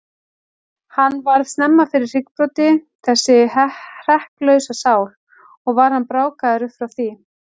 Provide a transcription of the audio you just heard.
Hann varð snemma fyrir hryggbroti, þessi hrekklausa sál, og var hann brákaður upp frá því.